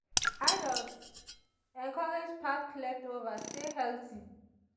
adults encouraged pack leftover stay healthy.